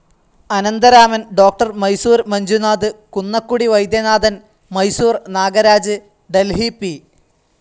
Anantharaman, doctor Mysore Manjunath, Kunnakudi Vaidyanathan, Mysore Nagaraj, Delhi P.